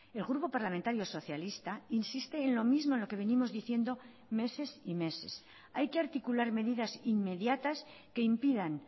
el grupo parlamentario socialista insiste en lo mismo en lo que venimos diciendo meses y meses hay que articular medidas inmediatas que impidan